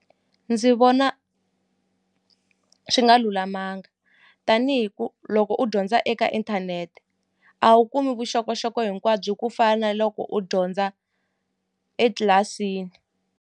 Ndzi vona swi nga lulamanga tanihi ku loko u dyondza eka inthanete a wu kumi vuxokoxoko hinkwabyo ku fana na loko u dyondza etlilasini.